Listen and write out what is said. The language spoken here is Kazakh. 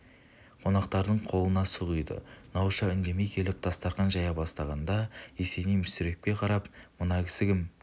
қонақтардың қолына су құйды науша үндемей келіп дастарқан жая бастағанда есеней мүсірепке қарапмына кісі кім